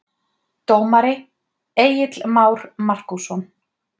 Dómari: Egill Már Markússon